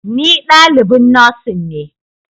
Ni dalibin Nursing ne